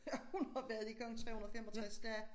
Ja hun har været i gang 365 dage